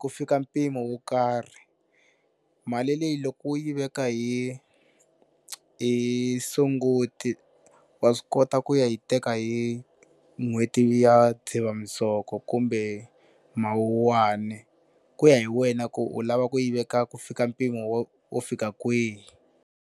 ku fika mpimo wo karhi. Mali leyi loko u yi veka hi hi sunguti wa swi kota ku ya hi teka hi n'hweti ya dzivamisoko kumbe mawuwani ku ya hi wena ku u lava ku yi veka ku fika mpimo wo wo fika kwihi.